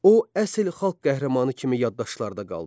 O, əsl xalq qəhrəmanı kimi yaddaşlarda qaldı.